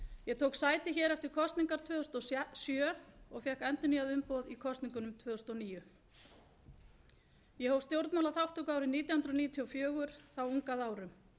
ég tók sæti eftir kosningar tvö þúsund og sjö og fékk endurnýjað umboð í kosningunum tvö þúsund og níu ég hóf stjórnmálaþátttöku árið nítján hundruð níutíu og fjögur þá ung að árum